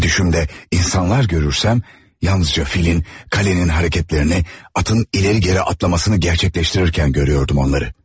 Ve düşümdə insanlar görürsəm, yalnızca filin, qalenin hərəkətlərini, atın ileri-geri atlamasını gerçekleştirirkən görüyordum onları.